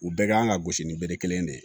U bɛɛ kan ka gosi ni bere kelen de ye